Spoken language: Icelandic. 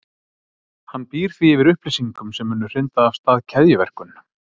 Hann býr því yfir upplýsingum sem munu hrinda af stað keðjuverkun.